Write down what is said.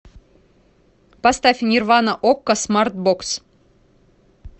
поставь нирвана окко смарт бокс